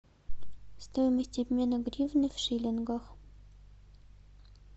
стоимость обмена гривны в шиллингах